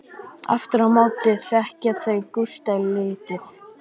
Aftur á móti þekkja þau Gústa lítið.